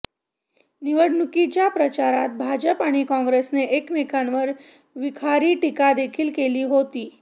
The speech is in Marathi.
निवडणुकीच्या प्रचारात भाजप आणि काँग्रेसने एकमेकांवर विखारी टीकादेखील केली होती